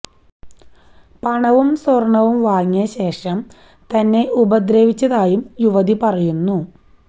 പണവും സ്വര്ണവും വാങ്ങിയ ശേഷം തന്നെ ഉപദ്രവിച്ചതായും യുവതി പറയുന്നു